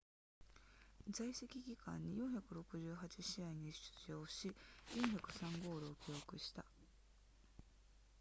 在籍期間に468試合に出場し403ゴールを記録した